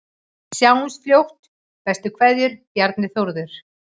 Sjáumst fljótt, bestu kveðjur: Bjarni Þórður